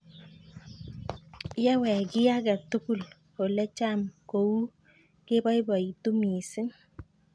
Yewek kiy ake tukul ole cham ko uu kepoipoitu missing'